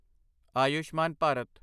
Ayushman Bharat